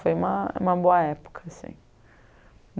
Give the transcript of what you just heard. Foi uma uma boa época, assim.